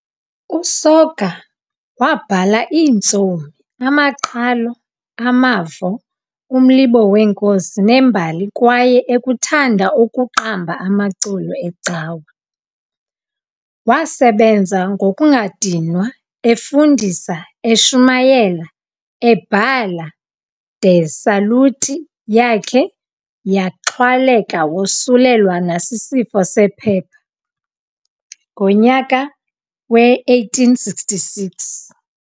USoga wabhala iintsomi, amaqhalo, amavo, umlibo weenkosi nembali kwaye ekuthanda ukuqamba amaculo ecawa. Wasebenza ngokungadinwa, efundisa, eshumayela, ebhala- de saluti yakhe yaxhwaleka wosulelwa nasisifo sephepha ngonyaka we-1866.